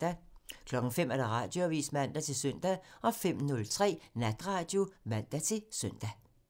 05:00: Radioavisen (man-søn) 05:03: Natradio (man-søn)